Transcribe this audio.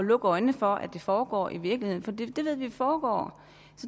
lukke øjnene for at det foregår i virkeligheden vi ved jo at det foregår